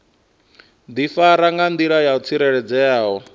difara nga ndila yo tsireledzeaho